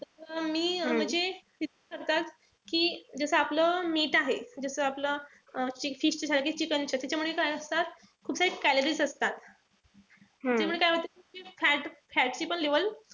मी म्हणजे कि जस आपलं meat आहे. जस आपलं chicken च त्याच्यामध्ये काय असतात? कुठल्याही calories असतात. त्यामुळे काय होत fat ची पण level,